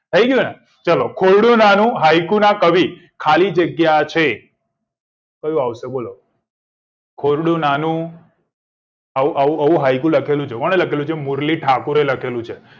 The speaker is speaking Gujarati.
થઇ ગયું ને ચલો ખોરડું નાનું હાઇકુ નાં કવિ ખાલી જગ્યા છે કયું આવશે બોલો ખોરડું નાનું આવું આવું આવું હાઇકુ લખેલું છે કોને લખેલું છે મુરલી ઠાકોરે લખેલું છે